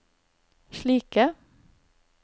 slike